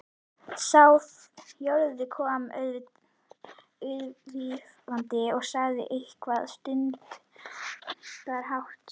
Sá fjórði kom aðvífandi og sagði eitthvað stundarhátt.